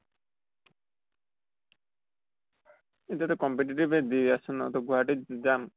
এতিয়া টো competitive য়ে দি আছো ন, ত গুৱাহাটীত যাম।